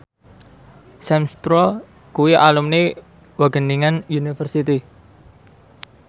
Sam Spruell kuwi alumni Wageningen University